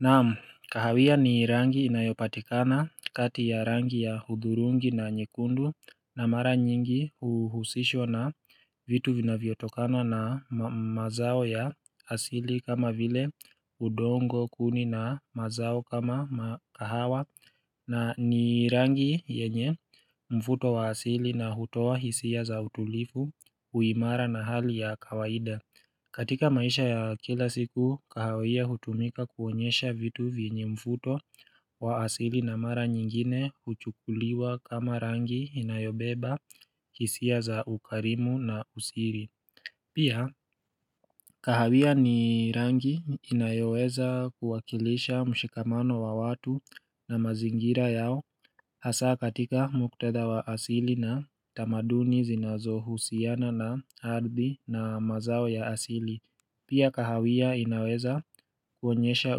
Naam kahawia ni rangi inayopatikana kati ya rangi ya hudhurungi na nyekundu na mara nyingi huhusishww na vitu vinavyotokana na mazao ya asili kama vile udongo kuni na mazao kama kahawa na ni rangi yenye mvuto wa asili na hutoa hisia za utulivu uimara na hali ya kawaida katika maisha ya kila siku, kahawia hutumika kuonyesha vitu vyenye mvuto wa asili na mara nyingine huchukuliwa kama rangi inayobeba hisia za ukarimu na usiri. Pia, kahawia ni rangi inayoweza kuwakilisha mshikamano wa watu na mazingira yao hasa katika muktadha wa asili na tamaduni zinazohusiana na hadhi na mazao ya asili. Pia kahawia inaweza kuonyesha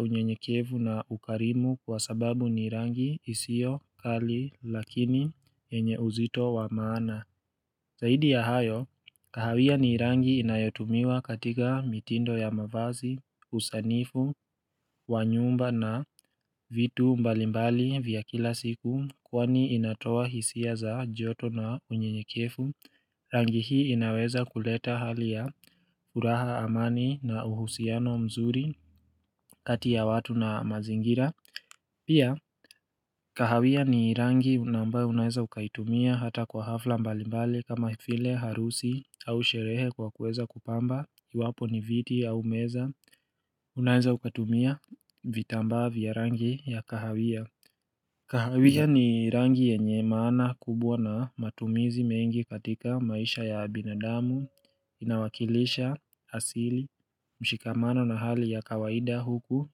unyenyekevu na ukarimu kwa sababu ni rangi isiyo kali lakini yenye uzito wa maana. Zaidi ya hayo, kahawia ni rangi inayotumiwa katika mitindo ya mavazi, usanifu, wanyumba na vitu mbalimbali vya kila siku kwani inatoa hisia za joto na unyenyekevu. Rangi hii inaweza kuleta hali ya furaha amani na uhusiano mzuri kati ya watu na mazingira Pia kahawia ni rangi na ambayo unaeza ukaitumia hata kwa hafla mbalimbali kama vile harusi au sherehe kwa kuweza kupamba iwapo ni viti au meza unaeza ukatumia vitambaa vya rangi ya kahawia kahawia ni rangi yenye maana kubwa na matumizi mengi katika maisha ya binadamu inawakilisha asili mshikamano na hali ya kawaida huku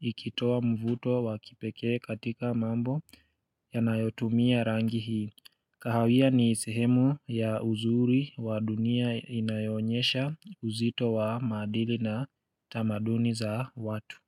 ikitoa mvuto wa kipekee katika mambo yanayotumia rangi hii kahawia ni sehemu ya uzuri wa dunia inayoonyesha uzito wa maadili na tamaduni za watu.